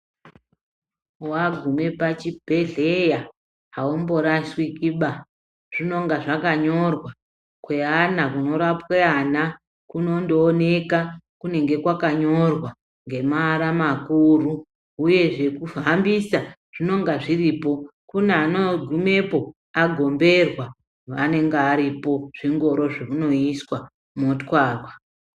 Wagume pa chibhedhleya haumbo rashiki baa zvinonga zvaka nyorwa kwe ana kuno rapwe ana kunondo oneka kunenge kwaka nyorwa ngema ara makuru uyezve zveku fambisa zvinonga zviripo kune ano gumepo agomberwa vanonga varipo zvingoro zvemuno iswa motwarwa.